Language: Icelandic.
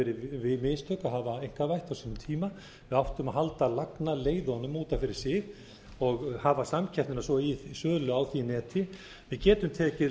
verið mistök að hafa einkavætt á sínum tíma við áttum að halda lagnaleiðunum út af fyrir sig og hafa samkeppnina svo í sölu á því neti við getum tekið